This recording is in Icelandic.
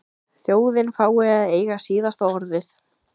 Þjóðin fái að eiga síðasta orðið?